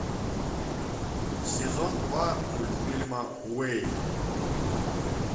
сезон два мультфильма уэйн